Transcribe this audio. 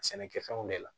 Sɛnɛkɛfɛnw de la